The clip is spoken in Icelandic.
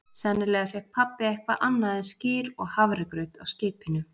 Sennilega fékk pabbi eitthvað annað en skyr og hafragraut á skipinu.